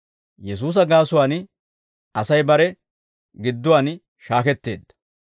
Yesuusa gaasuwaan Asay bare gidduwaan shaaketteedda.